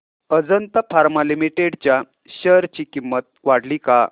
Ajanta pharma limited च्या share ची किंमत वाढली का